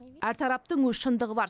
әр тараптың өз шындығы бар